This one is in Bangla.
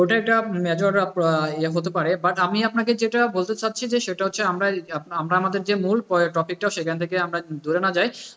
ওটা একটা হতে পারে but আমি আপনাকে যেটা বলতে চাইছি যে আমরা আমাদের যে মূল topic টা সেখান থেকে আমরা দূরে না যাই,